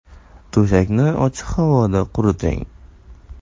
To‘shakni ochiq havoda quriting.